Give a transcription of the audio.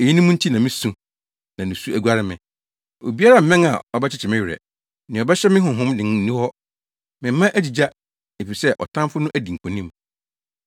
“Eyinom nti na misu na nusu aguare me. Obiara mmɛn a ɔbɛkyekye me werɛ, nea ɔbɛhyɛ me honhom den nni hɔ. Me mma agyigya efisɛ ɔtamfo no adi nkonim.”